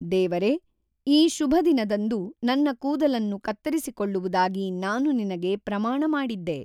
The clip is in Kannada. ದೇವರೆ, ಈ ಶುಭ ದಿನದಂದು ನನ್ನ ಕೂದಲನ್ನು ಕತ್ತರಿಸಿಕೊಳ್ಳುವುದಾಗಿ ನಾನು ನಿನಗೆ ಪ್ರಮಾಣ ಮಾಡಿದ್ದೆ.